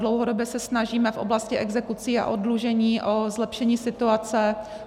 Dlouhodobě se snažíme v oblasti exekucí a oddlužení o zlepšení situace.